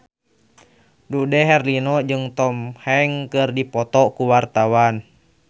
Dude Herlino jeung Tom Hanks keur dipoto ku wartawan